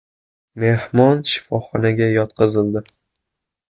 Mehmon shifoxonaga yotqizildi.